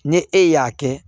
Ni e y'a kɛ